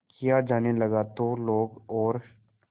किया जाने लगा तो लोग और